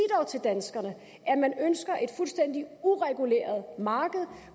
til danskerne at man ønsker et fuldstændig ureguleret marked